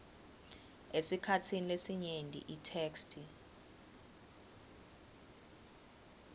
esikhatsini lesinyenti itheksthi